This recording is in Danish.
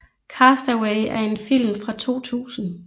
Cast Away er en film fra 2000